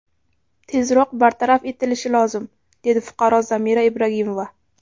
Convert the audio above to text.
Tezroq bartaraf etilishi lozim, dedi fuqaro Zamira Ibragimova.